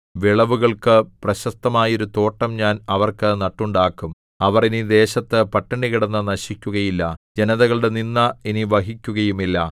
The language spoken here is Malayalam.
വിളവുകൾക്ക് പ്രശസ്തമായൊരു തോട്ടം ഞാൻ അവർക്ക് നട്ടുണ്ടാക്കും അവർ ഇനി ദേശത്തു പട്ടിണി കിടന്നു നശിക്കുകയില്ല ജനതകളുടെ നിന്ദ ഇനി വഹിക്കുകയുമില്ല